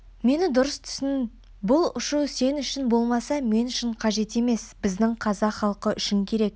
мені дұрыс түсін бұл ұшу сен үшін болмаса мен үшін қажет емес біздің қазақ халқы үшін керек